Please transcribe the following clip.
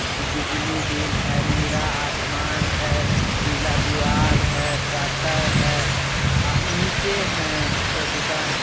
बिजली बिल है नीला आसमान है पीला दीवाल है शटर है आ ईंटें हैं श दुकान है।